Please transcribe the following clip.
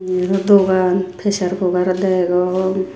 yeno dogan pressure cookaro degong.